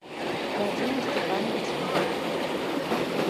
вадиму степановичу бондареву